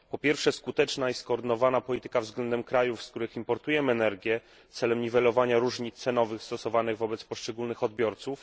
Po pierwsze, skuteczna i skoordynowana polityka względem krajów, z których importujemy energię, celem niwelowania różnic cenowych stosowanych wobec poszczególnych odbiorców.